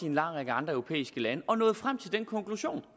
en lang række andre europæiske lande og nået frem til den konklusion